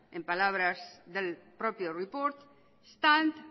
en palabras del propio report stand